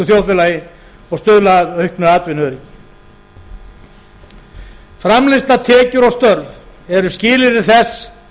þjóðfélagi og stuðla að auknu atvinnuöryggi framleiðsla tekjur og störf eru skilyrði þess